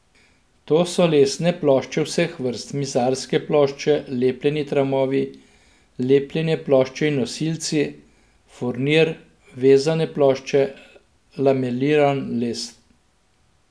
To so lesne plošče vseh vrst, mizarske plošče, lepljeni tramovi, lepljene plošče in nosilci, furnir, vezane plošče, lameliran les ...